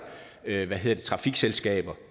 ved ved at trafikselskaber